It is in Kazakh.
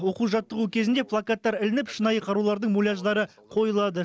оқу жаттығу кезінде плакаттар ілініп шынайы қарулардың муляждары қойылады